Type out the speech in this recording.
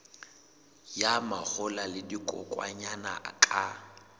ya mahola le dikokwanyana ka